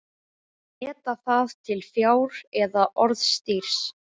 Á að meta það til fjár eða orðstírs?